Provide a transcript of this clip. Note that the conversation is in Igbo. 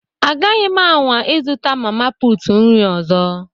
Agaghị m anwa ịzụta mama putu nri ọzọ